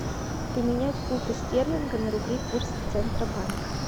поменять фунты стерлинга на рубли курс центробанка